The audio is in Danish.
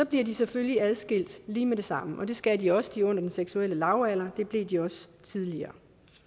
bliver de selvfølgelig adskilt lige med det samme og det skal de også de er under den seksuelle lavalder det blev de også tidligere